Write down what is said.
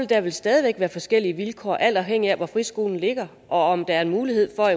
der vel stadig væk være forskellige vilkår alt afhængigt af hvor friskolen ligger og om der er mulighed for